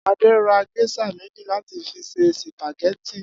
Adé ra gés̩à méjì láti fi se sìpàgé̩tì